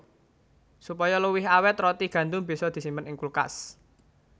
Supaya luwih awèt roti gandum bisa disimpen ing kulkas